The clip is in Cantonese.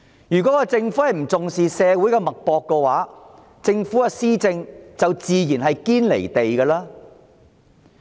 如果政府不重視社會脈搏，它的施政自然"堅離地"。